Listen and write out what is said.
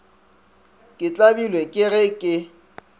ke tlabilwe ke ge ke